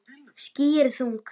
Ský eru þung.